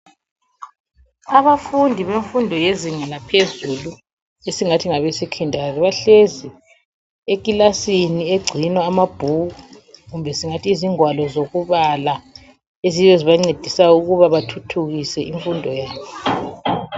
Abafundi benfundo yezinga laphezulu ,esingathi ngabe secondary .Bahlezi ekilasini egcinwa amabhuku kumbe singathi izingwalo zokubala ,eziyizo ezibancedisa ukuba bathuthukise infundo yabo.